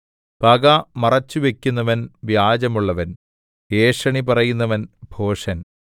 പക മറച്ചുവയ്ക്കുന്നവൻ വ്യാജമുള്ളവൻ ഏഷണി പറയുന്നവൻ ഭോഷൻ